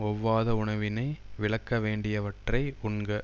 ஒவ்வாத உணவினை விலக்க வேண்டியவற்றை உண்க